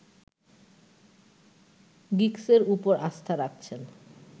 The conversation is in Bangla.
গিগসের উপর আস্থা রাখছেন